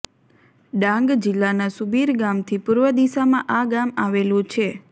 ડાંગ જિલ્લાના સુબિર ગામથી પૂર્વ દિશામાં આ ગામ આવેલું છે